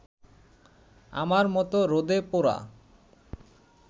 আমার মত রোদে পোড়া